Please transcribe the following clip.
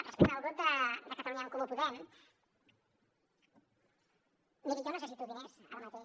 respecte al grup de catalunya en comú podem miri jo necessito diners ara mateix